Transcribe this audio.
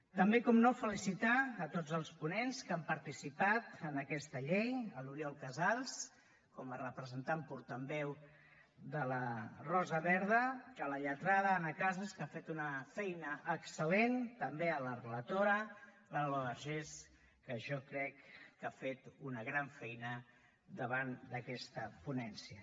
també evidentment felicitar a tots els ponents que han participat en aquesta llei l’oriol casals com a representant portaveu de la rosa verda la lletrada anna casas que ha fet una feina excel·lent també la relatora l’alba vergés que jo crec que ha fet una gran feina davant d’aquesta ponència